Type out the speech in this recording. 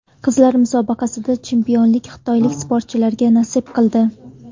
Qizlar musobaqasida chempionlik xitoylik sportchilarga nasib qildi.